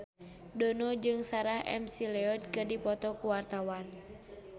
Dono jeung Sarah McLeod keur dipoto ku wartawan